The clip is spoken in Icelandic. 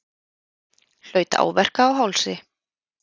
Hlaut áverka á hálsi